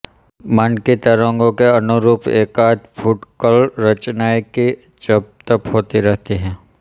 मन की तरंगों के अनुरूप एकाध फुटकल रचनाएँ ही जब तब होती रही है